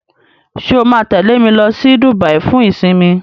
ṣe o ma tẹle me ló sì Dubai fún isinmi?